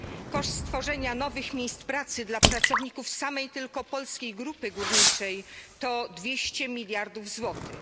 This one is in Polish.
Koszt stworzenia nowych miejsc pracy dla pracowników samej tylko Polskiej Grupy Górniczej to 200 miliardów złotych.